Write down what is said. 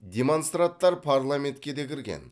демонстранттар парламентке де кірген